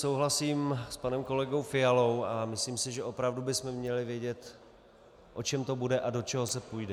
Souhlasím s panem kolegou Fialou a myslím si, že opravdu bychom měli vědět, o čem to bude a do čeho se půjde.